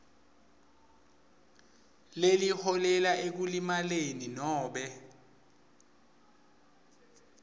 lokuholela ekulimaleni nobe